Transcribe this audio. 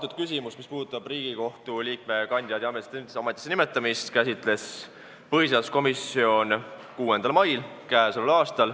Seda küsimust, mis puudutab Riigikohtu liikme kandidaadi ametisse nimetamist, käsitles põhiseaduskomisjon 6. mail.